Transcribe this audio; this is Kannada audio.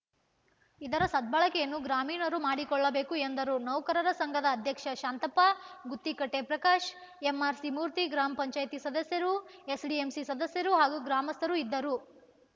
ಇದರ ಸದ್ಬಳಕೆಯನ್ನು ಗ್ರಾಮೀಣರು ಮಾಡಿಕೊಳ್ಳಬೇಕು ಎಂದರು ನೌಕರರ ಸಂಘದ ಅಧ್ಯಕ್ಷ ಶಾಂತಪ್ಪ ಗುತ್ತಿಕಟ್ಟೆಪ್ರಕಾಶ್‌ ಎಂಆರ್‌ಸಿ ಮೂರ್ತಿ ಗ್ರಾಮ ಪಂಚಾಯಿತಿ ಸದಸ್ಯರು ಎಸ್‌ಡಿಎಂಸಿ ಸದಸ್ಯರು ಹಾಗೂ ಗ್ರಾಮಸ್ಥರು ಇದ್ದರು